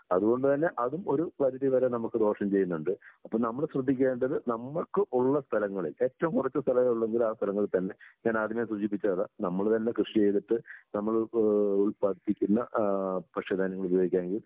അതുകൊണ്ട് തന്നെ അതും ഒരു പരിധിവരെ നമുക്ക് ദോഷം ചെയ്യുന്നുണ്ട്. അപ്പോ നമ്മൾ ശ്രദ്ധിക്കേണ്ടത് നമ്മൾക്ക് ഉള്ള സ്ഥലങ്ങളിൽ ഏറ്റവും കുറച്ച് സ്ഥലം ഉള്ളുവെങ്കിൽ ആ സ്ഥലങ്ങളിൽ തന്നെ ഞാൻ ആദ്യമേ സൂചിപ്പിച്ചത് അതാ നമ്മള് തന്നെ കൃഷി ചെയ്തിട്ട് നമ്മള് ഏഹ് ഉല്‍പ്പാദിപ്പിക്കുന്ന ആഹ് ഭക്ഷ്യധാന്യങ്ങൾ ഉപയോഗിക്കാണെങ്കിൽ